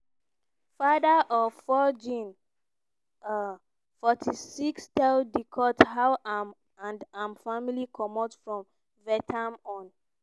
father-of-four jean um forty six tell di court how im and im family comot from vietnam on